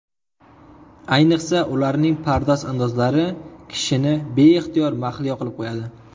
Ayniqsa, ularning pardoz-andozlari kishini beixtiyor mahliyo qilib qo‘yadi.